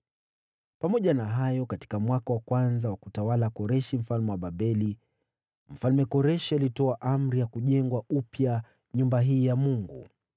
“Pamoja na hayo, katika mwaka wa kwanza wa kutawala Koreshi mfalme wa Babeli, Mfalme Koreshi alitoa amri ya kujengwa upya nyumba hii ya Mungu.